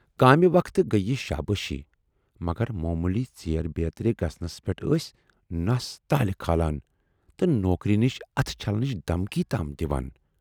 کامہِ وقتہٕ گٔیے یہِ شابٲشی مگر موموٗلی ژیر بیترِ گژھنَس پٮ۪ٹھ ٲسۍ نَس تالہِ کھاران تہٕ نوکری نِش اتھ چھلنٕچ دھمکی تام دِوان۔